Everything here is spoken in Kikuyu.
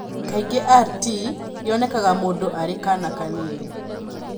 Kaingĩ RT yonekaga mũndũ arĩ kaana kanini.